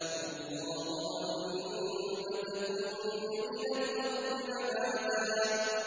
وَاللَّهُ أَنبَتَكُم مِّنَ الْأَرْضِ نَبَاتًا